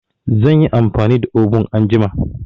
Zan yi amfani da obun anjima.